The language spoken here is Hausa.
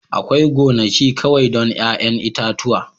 Akwai gonaki kawai don 'ya'yan itatuwa